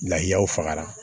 Lahaw fagara